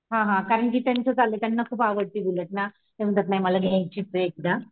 हा हा कारण की त्यांचं चाललंय त्यांना खूप आवडते बुलेट ना ते म्हणतात मला घ्यायचीच आहे.